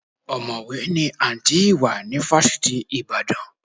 Ọ̀mọ̀wé ni Àǹtí Ìwà ní fásitì Ìbàdàn.